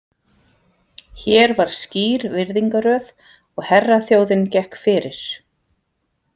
Hér var skýr virðingarröð og herraþjóðin gekk fyrir.